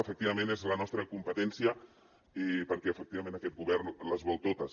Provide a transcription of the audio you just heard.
efectivament és la nostra competència perquè efectivament aquest govern les vol totes